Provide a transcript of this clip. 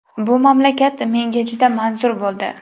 Bu mamlakat menga juda manzur bo‘ldi.